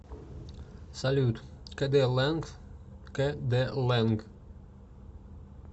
салют кэдэ лэнг кэ дэ лэнг